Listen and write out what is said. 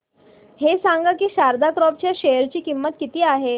हे सांगा की शारदा क्रॉप च्या शेअर ची किंमत किती आहे